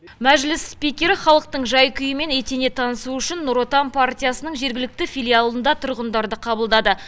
мәжіліс спикері халықтың жай күйімен етене танысу үшін нұр отан партиясының жергілікті филиалында тұрғындарды қабылдады